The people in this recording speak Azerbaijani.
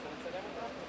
Demək istəyirəm.